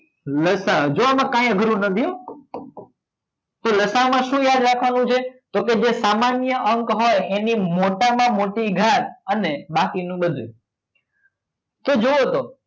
લસા જોવામાં કાંઈ અઘરું નથી તો લાસામાં શું યાદ રાખવાનું છે તો કે જે સામાન્ય અંક હોય એને મોટામાં મોટી ઘાત અને બાકીનું બધું તો જુઓ તો